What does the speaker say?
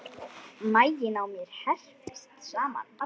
Maginn á mér herpist saman.